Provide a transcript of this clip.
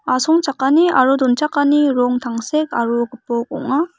asongchakani aro donchakani rong tangsek aro gipok ong·a.